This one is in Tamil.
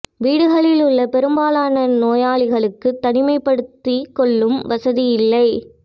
வீடுகளில் உள்ள பெரும்பாலான நோயாளிகளுக்கு தனிமைப்படுத்திக் கொள்ளும் வசதி இல்லை